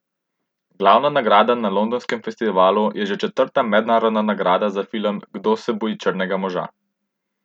Glavna nagrada na londonskem festivalu je že četrta mednarodna nagrada za film Kdo se boji črnega moža?